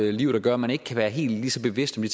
et liv der gør at man ikke kan være helt lige så bevidst om